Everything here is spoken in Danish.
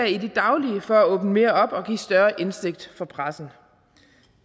i det daglige for at åbne mere op og give større indsigt for pressen